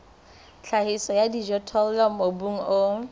tlhahiso ya dijothollo mobung o